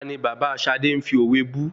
Tani bàbá Ṣadé ń fi òwe bú?